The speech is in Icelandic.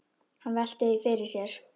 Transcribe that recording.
Hann veltir því fyrir sér.